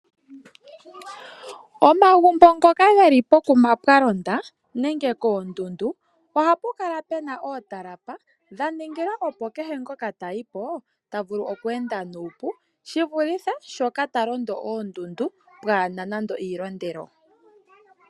Omagumbo ngoka geli pokuma pwalonda menge koondundu ohapu kala puna ootalapa dhaningila opo kehe ngoka ta tayiko tavulu oku enda nuupu shivulithe talondo oondundu pwaana nande iilondelo.